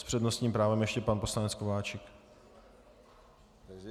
S přednostním právem ještě pan poslanec Kováčik.